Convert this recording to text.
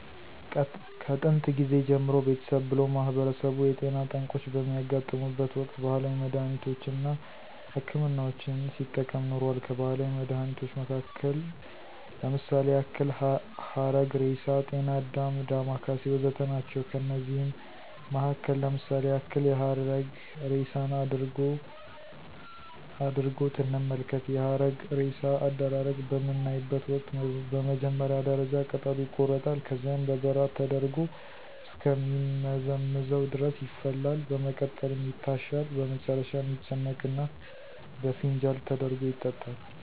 ከጥየንት ጊዜ ጀምሮ ቤተሰብ ብሎም ማህበረሰቡ የጤና ጠንቆች በሚያጋጥሙበት ወቅት ባህላዊ መድሃኒቶች አና ሕክምናዎችን ሲጠቀም ኖሯል። ከባህላዊ መድሃኒቶች መሀከል ለምሳሌ ያክል ሀረግሬሳ፣ ጤናአዳም፣ ዳማከሴ ወዘተ ናቸው። ከነዚህም መሀከል ለምሳሌ ያክል የሀረግሬሳን አድሪጎት እንመልከት፦ የሀረግሬሳ አደራረግ በምናይበተ ወቅት በመጀመሪያ ደረጃ ቅጠሉ ይቆረጣል፣ ከዚያም በበራድ ተደርጎ እስከ ሚመዘምዘው ድረስ ይፈላል፣ በመቀጠልም ይታሻል፣ በመጨረሻም ይጨመቅና በፋንጃል ተደርጎ ይጠጣል።